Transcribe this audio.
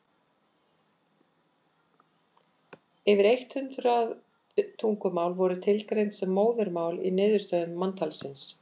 yfir eitt hundruð tungumál voru tilgreind sem móðurmál í niðurstöðum manntalsins